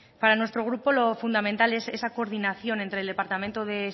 para nuestro grupo lo fundamental es esa coordinación entre el departamento de